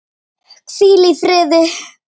Hvíl í friði!